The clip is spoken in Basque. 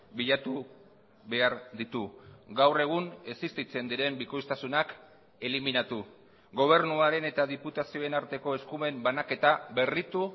bilatu behar ditu gaur egun existitzen diren bikoiztasunak eliminatu gobernuaren eta diputazioen arteko eskumen banaketa berritu